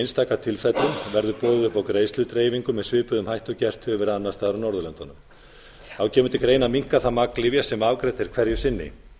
einstaka tilfellum verður boðið upp á greiðsludreifingu með svipuðum hætti og gert hefur ári annars staðar á norðurlöndunum þá kemur til greina að minnka það magn lyfja sem afgreitt er hverju sinni